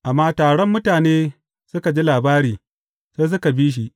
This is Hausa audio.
Amma taron mutane suka ji labari, sai suka bi shi.